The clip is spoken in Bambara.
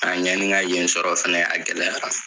ɲani ŋa yen sɔrɔ fɛnɛ, a gɛlɛyara.